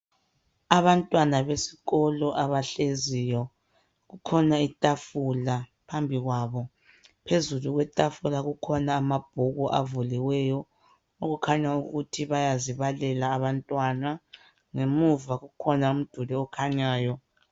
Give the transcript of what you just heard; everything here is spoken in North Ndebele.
Abantwana besikolo abahleziyo kukhona itafula phambi kwabo. Phezu kwetafula kukhona amabhuku avuliweyo okukhanya ukuthi bayazibalela abantwana, ngemuva kukhona umduli okhanyayo.